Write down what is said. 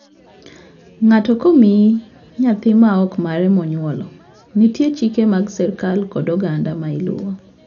Ng'ato ka omii nyathi ma ok mare monyuolo, nitie chike mag sirkal kod oganda ma iluwo.